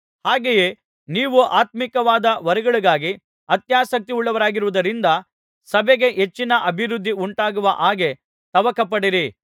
ಹಾಗೆಯೇ ನೀವು ಆತ್ಮೀಕವಾದ ವರಗಳಿಗಾಗಿ ಅತ್ಯಾಸಕ್ತಿಯುಳ್ಳವರಾಗಿರುವುದರಿಂದ ಸಭೆಗೆ ಹೆಚ್ಚಿನ ಅಭಿವೃದ್ಧಿ ಉಂಟಾಗುವ ಹಾಗೆ ತವಕಪಡಿರಿ